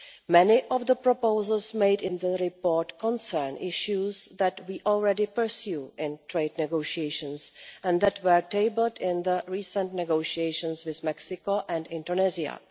Many of the proposals made in the report concern issues that we already pursue in trade negotiations and that were tabled in the recent negotiations with Mexico and Indonesia.